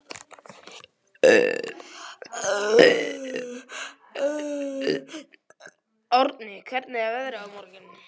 Árni, hvernig er veðrið á morgun?